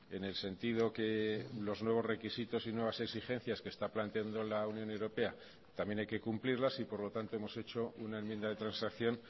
en el sentido que los nuevos requisitos y nuevas exigencias que está planteando la unión europea también hay que cumplirlas y por lo tanto hemos hecho una enmienda de transacción